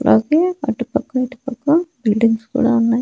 అలాగే అటు పక్క ఇటుపక్క బిల్డింగ్స్ కూడా ఉన్నాయ్.